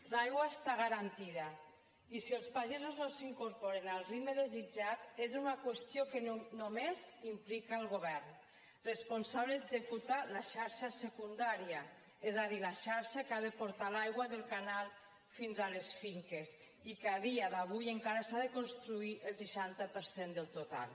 l’aigua està garantida i si els pagesos no s’hi incorporen al ritme desitjat és una qüestió que només implica el govern responsable d’executar la xarxa secundària és a dir la xarxa que ha de portar l’aigua del canal fins a les finques i que a dia d’avui encara s’ha de construir el seixanta per cent del total